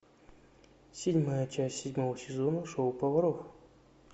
седьмая часть седьмого сезона шоу поваров